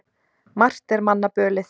Margt er manna bölið.